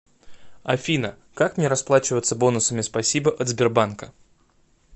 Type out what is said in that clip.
афина как мне расплачиваться бонусами спасибо от сбербанка